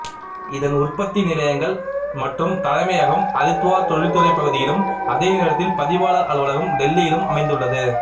இதன் உற்பத்தி நிலையங்கள் மற்றும் தலைமையகம் ஹரித்வார் தொழில்துறை பகுதியிலும் அதே நேரத்தில் பதிவாளர் அலுவலகம் டெல்லியில் அமைந்துள்ளது